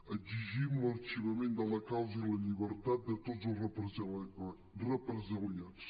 exigim l’arxivament de la causa i la llibertat de tots els represaliats